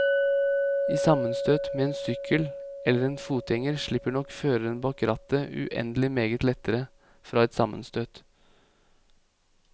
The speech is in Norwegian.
I sammenstøt med en sykkel eller en fotgjenger slipper nok føreren bak rattet uendelig meget lettere fra et sammenstøt.